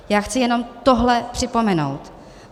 Já chci jenom tohle připomenout.